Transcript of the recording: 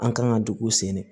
An kan ka dugu sen de